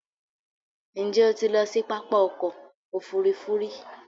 Ǹjẹ́ o ti lọ sí pápá ọkọ̀ òfurufú rí?